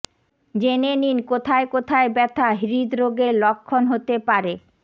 জেনে নিন কোথায় কোথায় ব্যথা হৃদরোগের লক্ষণ হতে পারে